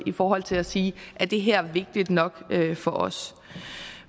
i forhold til at sige er det her vigtigt nok for os